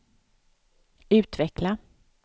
utveckla